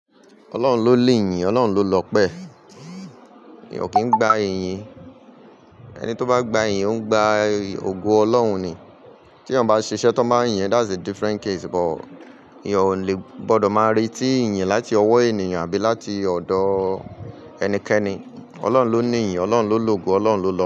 Ọlọ́run ló li yìn, Ọlọ́run ló lọ́pẹ́. Èèyàn ò kí ń gba ìyìn. Ẹni tó bá gba ìyìn, ó ń gba ògo Ọlọ́run ni. Tí èèyàn bá ṣiṣẹ́ tó bá yín, that's a different case but èèyàn ò le gbọdọ máa re tí ìyìn láti ọwọ́ ènìyàn àbí láti ọ̀dọ̀ ẹnikẹ́ni. Ọlọ́run ló ní ìyìn, Ọlọ́run ló lògo, Ọlọ́run ló lọ́